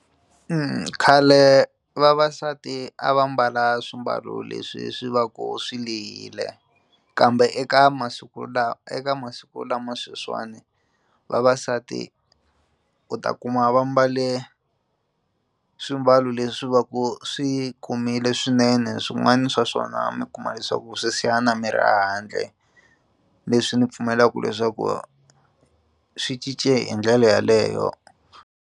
khale vavasati a va mbala swimbalo leswi swi va ku swi lehile kambe eka masiku lawa eka masiku lama sweswiwani vavasati u ta kuma va mbale swimbalo leswi va ku swi komile swinene swin'wana swa swona mi kuma leswaku swi siya na miri a handle leswi ni pfumelaku leswaku swi cince hi ndlela yeleyo.